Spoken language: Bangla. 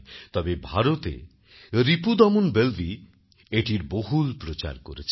তবে ভারতে রিপুদমন বেলভি এটির বহুল প্রচার করেছেন